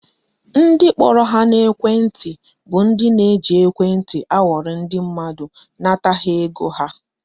Ndị kpọrọ ha n'ekwenti bụ ndị ji ekwenti akwọrị ndị mmadụ nata ha ego ha